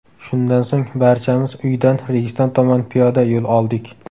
Shundan so‘ng barchamiz uydan Registon tomon piyoda yo‘l oldik.